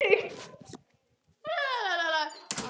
Síðan opnaði hann klæðaskápinn varlega og klæddi sig hljóðlega.